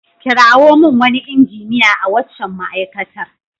Kirawo min wani injiniya a waccan ma'aikatar.